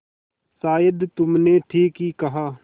शायद तुमने ठीक ही कहा